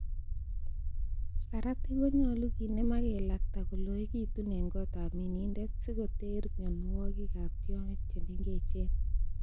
Saratik konyolu kinem ak kelakta koloekitun en gotab minindet, sikoteer mionwogik ab tiongik che mengechen.